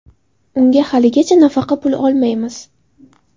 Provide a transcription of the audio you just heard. Unga haligacha nafaqa puli olmaymiz.